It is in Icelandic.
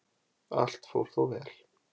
Allt fór þó vel